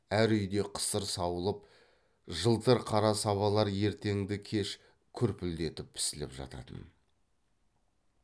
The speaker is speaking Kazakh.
әр үйде қысыр сауылып жылтыр қара сабалар ертеңді кеш күрпілдетіп пісіліп жататын